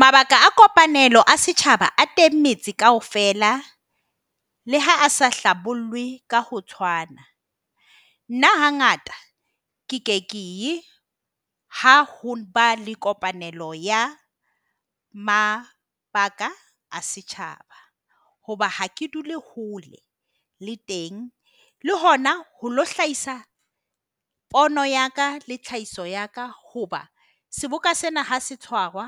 Mabaka a kopanelo a setjhaba a teng metse kaofela, le ha a sa hlabollwe ka ho tshwana. Nna hangata ke ke ye ha ho ba le kopanelo ya mabaka a setjhaba. Hoba ha ke dula ho le le teng, le hona ho ilo hlahisa pono ya ka le tlhahiso ya ka. Hoba seboka sena ha se tshwarwa